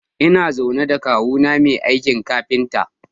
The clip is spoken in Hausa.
Ina zaune da kawuna mai aikin kafinta.